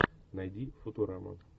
найди футураму